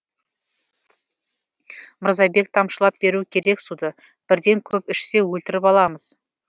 мырзабек тамшылап беру керек суды бірден көп ішсе өлтіріп аламыз